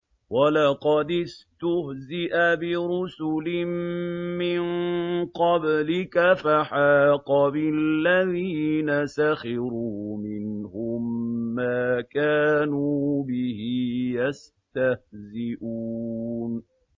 وَلَقَدِ اسْتُهْزِئَ بِرُسُلٍ مِّن قَبْلِكَ فَحَاقَ بِالَّذِينَ سَخِرُوا مِنْهُم مَّا كَانُوا بِهِ يَسْتَهْزِئُونَ